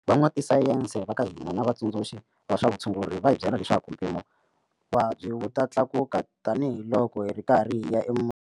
Van'watisayense va ka hina na vatsundzuxi va swa vutshunguri va hi byele leswaku vuvabyi wu ta tlakuka tanihiloko hi ri karhi hi ya.